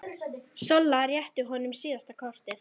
Solla rétti honum síðasta kort.